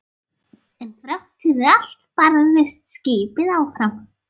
En þrátt fyrir allt barðist skipið áfram.